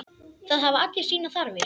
Það hafa allir sínar þarfir.